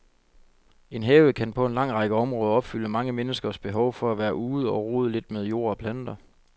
En have kan på en lang række områder opfylde mange menneskers behov for at være ude og rode lidt med jord og planter.